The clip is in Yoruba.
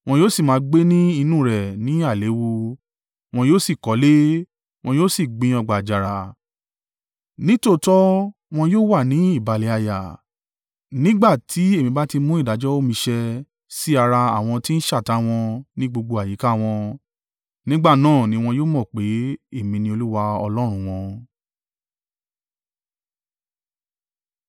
Wọn yóò sì máa gbé ní inú rẹ̀ ní àìléwu, wọn yóò sì kọ́lé, wọn yóò sì gbin ọgbà àjàrà; nítòótọ́ wọn yóò wà ní ìbàlẹ̀ àyà, nígbà tí èmi bá ti mú ìdájọ́ mi ṣẹ̀ sí ara àwọn tí ń ṣátá wọn ní gbogbo àyíká wọn. Nígbà náà ni wọn yóò mọ̀ pé, Èmi ni Olúwa Ọlọ́run wọn.’ ”